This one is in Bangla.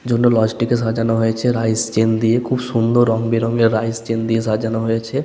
জন্য লজ টিকে সাজানো হয়েছে রাইস চেন দিয়ে খুব সুন্দর রং বেরঙ এর রাইস চেন দিয়ে সাজানো হয়েছে।